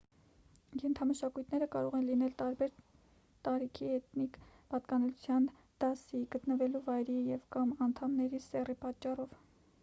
ենթամշակույթները կարող են լինել տարբեր` տարիքի էթնիկ պատկանելիության դասի գտնվելու վայրի և կամ անդամների սեռի պատճառով: